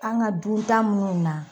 An ka dun tan munnu na